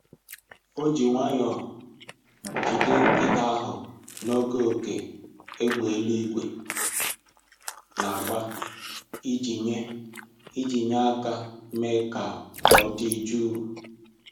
O ji nwayọ jide nkịta ahụ n'oge oké égbè eluigwe na-agba iji nye iji nye aka mee ka ọ dị jụụ